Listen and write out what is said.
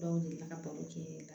Dɔw deli la ka baro kɛ